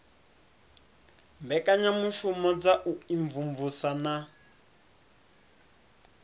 mbekanyamushumo dza u imvumvusa na